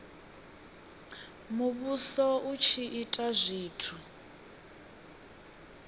muvhuso u tshi ita zwithu